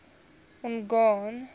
mongane